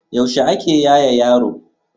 yaushe ake yaye yaro